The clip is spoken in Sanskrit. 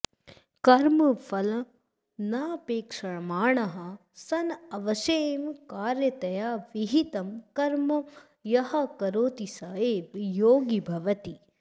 कर्मफलमनपेक्षमाणः सन् अवश्यं कार्यतया विहितं कर्म यः करोति स एव योगी भवति